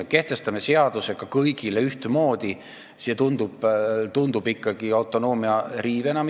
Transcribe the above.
Kui me kehtestame selle seadusega kõigile ühtemoodi, siis see tundub ikkagi autonoomia riivena.